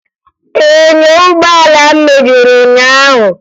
Enyo ụgbọala m mebiri ụnyaahụ